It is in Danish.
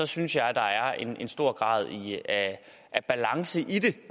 synes jeg at der er en stor grad af af balance i det